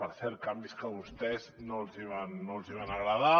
per cert canvis que a vostès no els hi van agradar